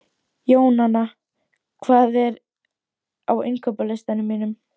Jónanna, hvað er á innkaupalistanum mínum?